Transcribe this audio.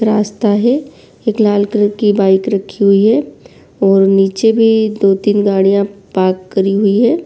रास्ता हैं। एक लाल कलर की बाइक रखी हुई है और नीचेभी दो-तिन गड़िया पार्क करी हुई है।